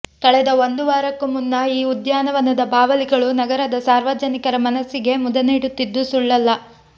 ಕಳೆದ ಒಂದು ವಾರಕ್ಕೂ ಮುನ್ನ ಈ ಉದ್ಯಾನವನದ ಬಾವಲಿಗಳು ನಗರದ ಸಾರ್ವಜನಿಕರ ಮನಸ್ಸಿಗೆ ಮುದ ನೀಡುತ್ತಿದ್ದುದು ಸುಳ್ಳಲ್ಲ